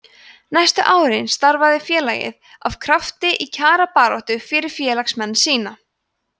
næstu árin starfaði félagið af krafti í kjarabaráttu fyrir félagsmenn sína